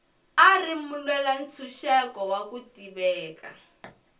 a ri mulwela ntshuxeko wa ku tiveka